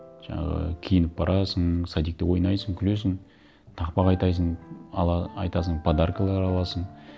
жаңағы киініп барасың садикте ойнайсың күлесің тақпақ айтасың подаркалар аласың